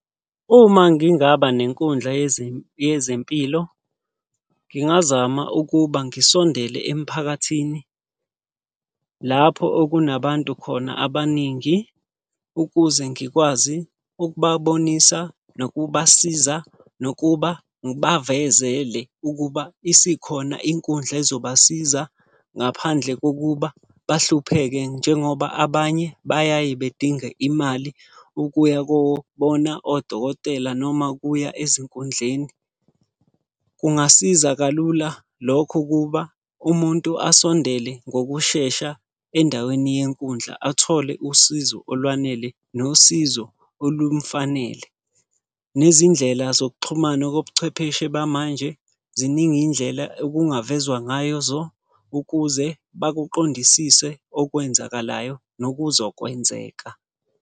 Uma ngingaba nenkundla yezempilo. Ngingazama ukuba ngisondele emphakathini. Lapho okunabantu khona abaningi, ukuze ngikwazi ukubabonisa, nokubasiza, nokuba ngibavezele ukuba isikhona inkundla ezobasiza ngaphandle kokuba bahlupheke. Njengoba abanye bayaye bedinge imali ukuya kobona odokotela noma ukuya ezinkundleni. Kungasiza kalula lokho ukuba umuntu asondele ngokushesha endaweni yenkundla athole usizo olwanele, nosizo olumufanele. Nezindlela zokuxhumana kobuchwepheshe bamanje ziningi iy'ndlela okungavezwa ngazo ukuze bakuqondisise okwenzakalayo, nokuzokwenzeka.